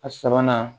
A sabanan